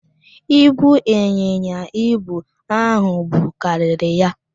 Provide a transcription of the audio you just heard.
Ibu ịnyịnya ibu ahụ bu karịrị ya.